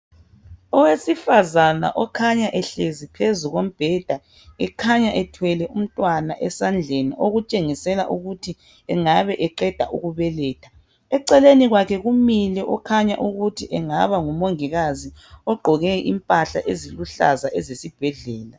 Owesifazana okhanya ehlezi phezu kombheda ekhanya ethwele umntwana esandleni okutshengisela ukuthi engabe eqeda ukubeletha. Eceleni kwakhe kumile okhanya ukuthi engaba ngumongikazi ogqoke impahla eziluhlaza ezesibhedlela.